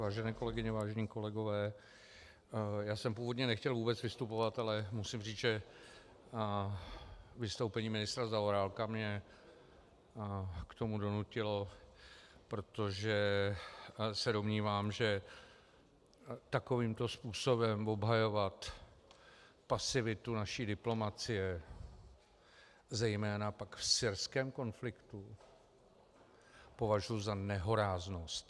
Vážené kolegyně, vážení kolegové, já jsem původně nechtěl vůbec vystupovat, ale musím říct, že vystoupení ministra Zaorálka mě k tomu donutilo, protože se domnívám, že takovýmto způsobem obhajovat pasivitu naší diplomacie, zejména pak v syrském konfliktu, považuji za nehoráznost.